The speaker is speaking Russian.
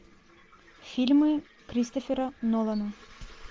фильмы кристофера нолана